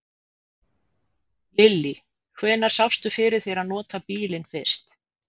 Lillý: Hvenær sérðu fyrir þér að nota bílinn fyrst?